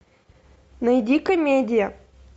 найди комедия